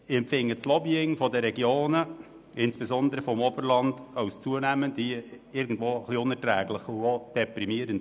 Ich empfinde das Lobbying der Regionen, insbesondere des Oberlandes, zunehmend als unerträglich und auch deprimierend.